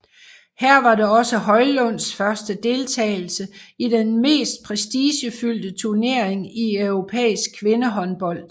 Her var det også Højlunds første deltagelse i den mest prestigefyldte turnering i europæisk kvindehåndbold